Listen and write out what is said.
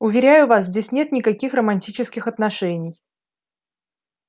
уверяю вас здесь нет никаких романтических отношений